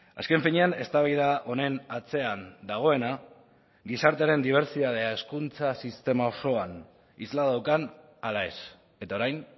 azken finean eztabaida honen atzean dagoena gizartearen dibertsitatea hezkuntza sistema osoan isla daukan ala ez eta orain